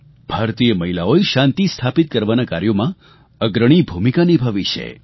ભારતીય મહિલાઓએ શાંતિ સ્થાપિત કરવાના કાર્યોમાં અગ્રણી ભૂમિકા નિભાવી છે